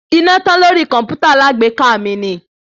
Iná tán lórí kọ̀mpútà alágbèéká mi ni.